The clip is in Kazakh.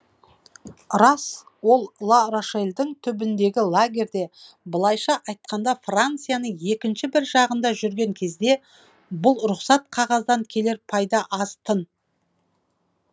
рас олар ла рошельдің түбіндегі лагерьде былайша айтқанда францияның екінші бір жағында жүрген кезде бұл рұқсат қағаздан келер пайда аз тын